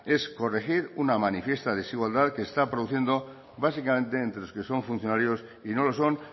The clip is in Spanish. es corregir una manifiesta desigualdad que se está produciendo básicamente entre los que son funcionarios y no lo son